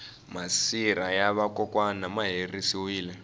masirha ya va kokwani ma herisiwile